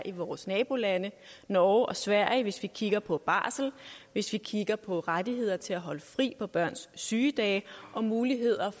i vores nabolande norge og sverige hvis vi kigger på barsel hvis vi kigger på rettigheder til at holde fri på børns sygedage og mulighed